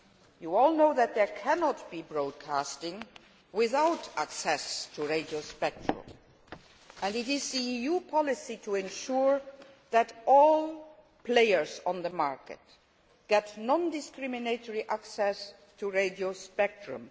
You all know that there cannot be broadcasting without access to radio spectrum, and it is the EU policy to ensure that all players on the market get non discriminatory access to radio spectrum.